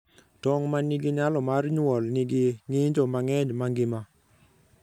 Tong' ma nigi nyalo mar nyuol nigi ng'injo mang'eny mangima.